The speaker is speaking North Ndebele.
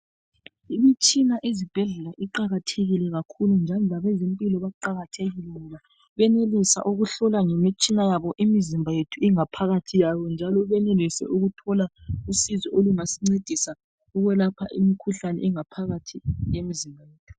Imitshina ezibhedlela iqakathekile kakhulu njalo labe zempilo baqakathekile ngoba benelisa ukuhlola ngemitshina yabo imizimba yethu ingaphakathi yayo njalo benelise ukuthola usizo olungasincedisa ukwelapha imikhuhlane engaphakathi kwemzimba yethu.